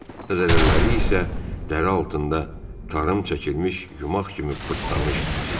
Əzələləri isə dəri altında tarım çəkilmiş yumaq kimi pırtlamışdı.